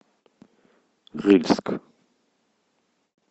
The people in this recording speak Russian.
рыльск